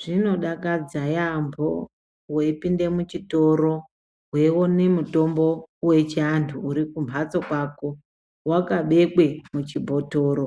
Zvino dakadza yaampho weipinde muchitoro weione mitombo wechianthu uri kumbatso kwako wakabekwe muchibhotoro